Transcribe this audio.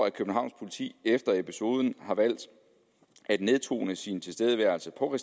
at københavns politi efter episoden har valgt at nedtone sin tilstedeværelse på